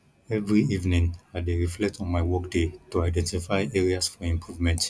every evening i dey reflect on my workday to identify areas for improvement